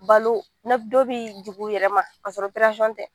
Balo dɔ bɛ jigin u yɛrɛma kassɔrɔ tɛ